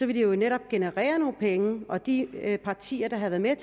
ville det netop generere nogle penge og de partier der havde været